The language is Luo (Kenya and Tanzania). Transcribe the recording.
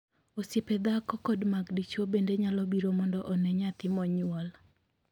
Osiepe dhako kod mag dichwo bende nyalo biro mondo onee nyathi monyuol.